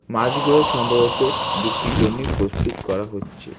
মাছগুলো সম্ভবত বিক্রির জন্যি প্রস্তুত করা হচ্ছে।